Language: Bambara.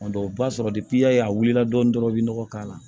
O b'a sɔrɔ y'a ye a wulila dɔɔnin dɔrɔn i bɛ nɔgɔ k'a la